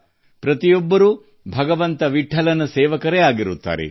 ಎಲ್ಲರೂ ವಾರಕರಿಗಳು ಭಗವಾನ್ ವಿಠ್ಠಲನ ಸೇವಕರು